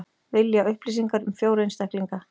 Vilja upplýsingar um fjóra einstaklinga